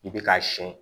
I bɛ k'a siyɛn